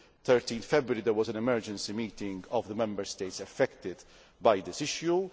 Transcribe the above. On 13 February there was an emergency meeting of the Member States affected by this issue.